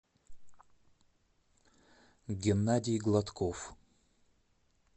геннадий гладков